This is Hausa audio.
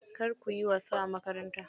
Kar kuyi wasa a makaranta.